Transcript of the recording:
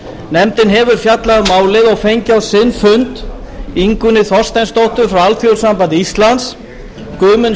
nefndin hefur fjallað um málið og fengið á sinn fund ingunni þorsteinsdóttur frá alþýðusambandi íslands guðmund